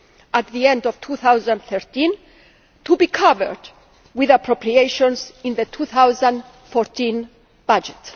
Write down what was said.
at the end of 2013 to be covered with appropriations in the 2014 budget.